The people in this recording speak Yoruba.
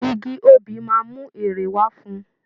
Igi obì máa mú èrè wá fún ùn